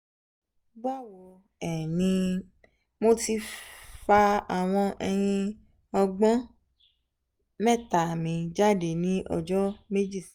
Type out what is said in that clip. bawo um ni mo ti fa awon eyin ogbon mẹ́ta mi jade ni ojo meji sehin